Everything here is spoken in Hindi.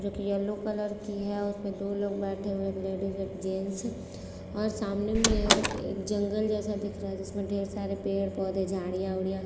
जो की येलो कलर की है उसमे दो लोग बैठे हुए एक लेडीज एक जेंट्स और सामने में एक जंगल जैसा दिख रहा है जिसमे ढेर सरे पेड पौधे झाडिया वाडिया--